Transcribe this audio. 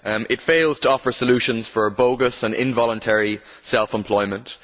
The report fails to offer solutions for bogus and involuntary self employment.